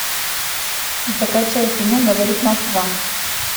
закачай кино говорит москва